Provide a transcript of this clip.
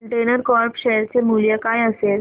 container corp share चे मूल्य काय असेल